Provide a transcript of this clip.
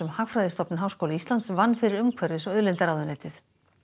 Hagfræðistofnun Háskóla Íslands vann fyrir umhverfis og auðlindaráðuneytið